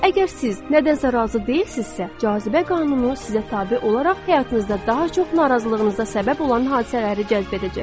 Əgər siz nədənsə razı deyilsinizsə, cazibə qanunu sizə tabe olaraq həyatınızda daha çox narazılığınıza səbəb olan hadisələri cəzb edəcəkdir.